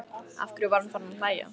Af hverju var hún farin að hlæja?